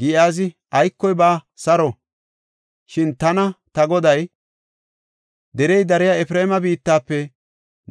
Giyaazi, “Aykoy baawa; saro! Shin tana ta goday, ‘Derey dariya Efreema biittafe